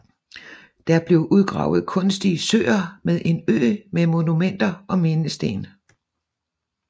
Der blev udgravet kunstige søer med en ø med monumenter og mindesten